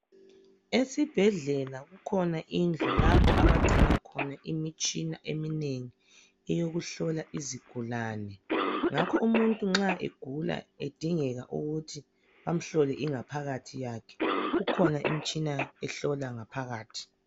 esibhedlela kukhona indlu lapha abacina khona imitshina etshiyeneyo yokuhlola isigulane ngakho umuntu nxa egulakudengeka ukuthi bamhlole ingaphakathi yakhe kukhona imitshina ehlola ingaphakathi